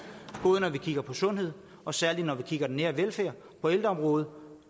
både når vi kigger på sundhed og særlig når vi kigger på den nære velfærd på ældreområdet